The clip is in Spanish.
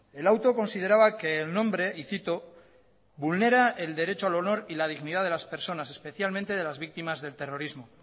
el auto consideraba que el nombre y cito vulnera el derecho al honor y la dignidad de las personas especialmente de las víctimas del terrorismo